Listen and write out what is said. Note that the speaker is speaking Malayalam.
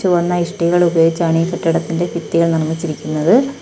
ചുവന്ന ഇഷ്ടികകൾ ഉപയോഗിച്ചാണ് ഈ കെട്ടിടത്തിന്റെ ഭിത്തികൾ നിർമ്മിച്ചിരിക്കുന്നത്.